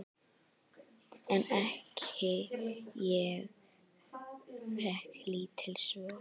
En ég fékk lítil svör.